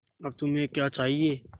अब तुम्हें क्या चाहिए